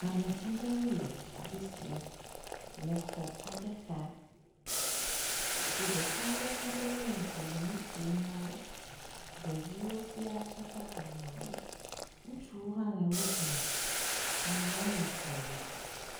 Ame aɖewo le afi sia le xɔ aɖe xa. Ŋutsu ɖeka aɖe tɔ ɖe wo ŋgɔ le nu ƒom na wo. Ɖeviwo sia tsaka ameawo. Ŋutsuwo hã le wo dome. Ameawo le fli me.